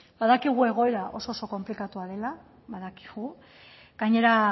badakigu egoera oso konplikatua dela badakigu gainera